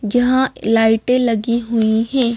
जहां लाइटें लगी हुई हैं।